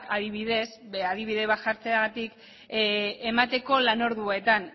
adibidez adibide bat jartzeagatik emateko lan orduetan